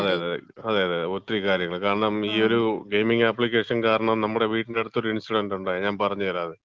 ആ, അതെ അതെ, അതെ അതെ ഒത്തിരി കാര്യങ്ങള്. കാരണം ഈ ഒരു ഗെയിമിങ് ആപ്ലിക്കേഷൻ കാരണം നമ്മടെ വീടിന്‍റെ അടുത്ത് ഒരു ഇൻസിഡന്‍റ് ഉണ്ടായി. ഞാൻ പറഞ്ഞ് തരാം അത്,